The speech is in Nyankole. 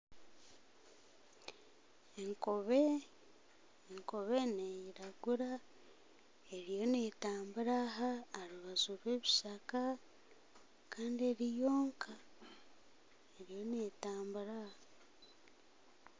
Enkobe, enkobe neiragura eriyo netambura aha aha rubaju rw'ebishaka kandi eri yonka eriyo netambura.